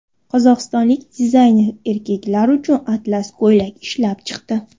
Qozog‘istonlik dizayner erkaklar uchun atlas ko‘ylak ishlab chiqdi.